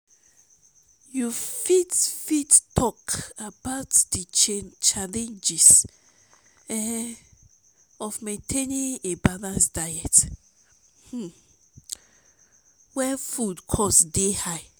you fit fit talk about di challenges um of maintaining a balanced diet um when food costs dey high?